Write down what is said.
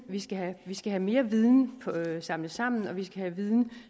vi skal have skal have mere viden samlet sammen og vi skal have viden